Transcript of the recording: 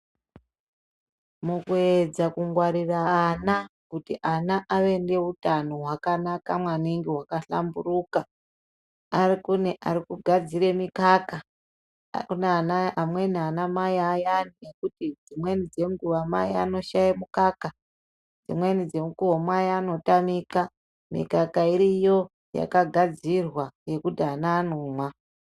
Mukuedza kungwarira ana kuti ana ave neutano hwakanaka maningi hwakahlamburuka kune arikugadzire mikaka, kune ana amweni anamai ayana ekuti dzimweni dzenguwa anoshaye mukaka, dzimweni dzemukuwo mai anotamika mikaka iriyo yakagadzirwa yekuti ana anomwa.